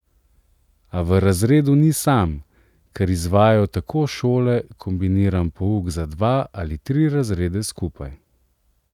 A v razredu ni sam, ker izvajajo take šole kombiniran pouk za dva ali tri razrede skupaj.